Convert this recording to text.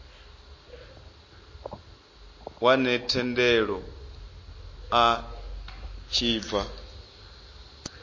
wane thendelo a tshi bva